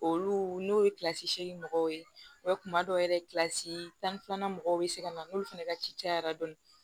Olu n'o ye seegin mɔgɔw ye wa kuma dɔw yɛrɛ kilasi tan ni filanan mɔgɔw bɛ se ka na n'olu fɛnɛ ka ci cayara dɔɔni